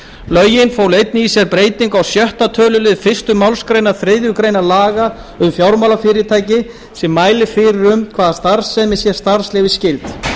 lögin fólu einnig í sér breytingu á sjötta töluliðar fyrstu málsgrein þriðju grein laga um fjármálafyrirtæki sem mælir fyrir um hvaða starfsemi sé starfsleyfisskyld